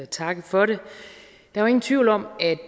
takke for det der er ingen tvivl om at